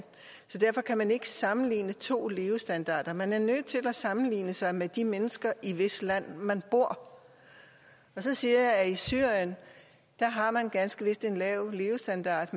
så derfor kan man ikke sammenligne to levestandarder man er nødt til at sammenligne sig med de mennesker i hvis land man bor så siger jeg at i syrien har man ganske vist en lav levestandard